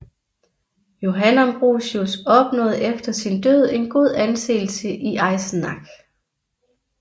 Johann Ambrosius opnåede efter sin død en god anseelse i Eisenach